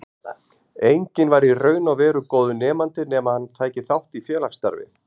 Enginn var í raun og veru góður nemandi nema hann tæki þátt í félagsstarfi.